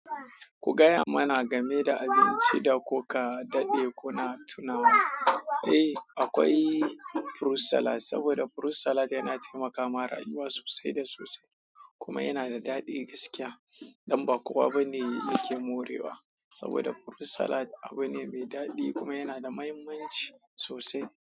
Ku gaya mana game da abinci da kuka daɗe kuna tunawa. Eh, akwai fruit salad, saboda fruit salad yana taimaka ma rayuwa sosai da sosai. Kuma yana da daɗi gaskiya. Dan ba kowa bane ya-- yake morewa. Saboda furut salad abu ne mai daɗi kuma yana da mahimmanci sosai,